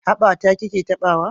Haɓa ta ki ke taɓawa?